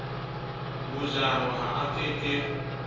mojaho ha a ke ke